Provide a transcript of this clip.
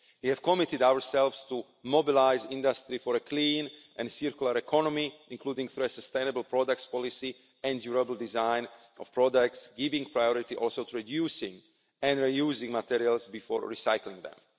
growth. We have committed ourselves to mobilise industry for a clean and circular economy, including for a sustainable products policy and durable design of products, also giving priority to reducing and re-using materials before recycling